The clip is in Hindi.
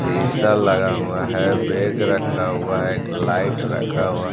सिंगसर लगा हुआ है वेग रखा हुआ है एक लाइट रखा हुआ--